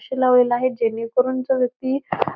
आरसे लावलेले आहेत. जेणेकरून जो व्यक्ती --